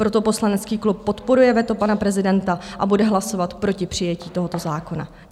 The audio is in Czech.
Proto poslanecký klub podporuje veto pana prezidenta a bude hlasovat proti přijetí tohoto zákona.